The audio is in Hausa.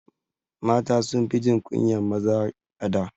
Mata sunfi jin kunyan maza a da